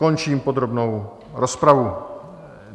Končím podrobnou rozpravu.